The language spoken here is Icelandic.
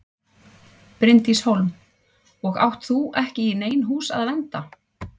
Bryndís Hólm: Og átt þú ekki í nein hús að vernda?